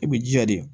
I b'i jija de